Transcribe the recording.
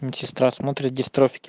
мм сестра смотрит дистрофики